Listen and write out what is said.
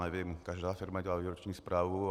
Nevím, každá firma dělá výroční zprávu.